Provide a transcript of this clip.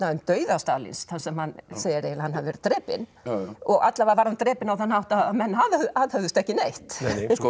um dauða Stalíns þar sem hann segir eiginlega að hann hafi verið drepinn alla vega var hann drepinn á þann hátt að menn aðhöfðust ekki neitt sko